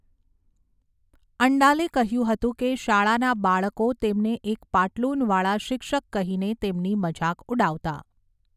અંડાલે કહ્યું હતું કે, શાળાના બાળકો તેમને એક પાટલૂન વાળા શિક્ષક કહીને તેમની મજાક ઉડાવતા.